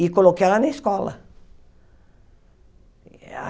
E coloquei ela na escola.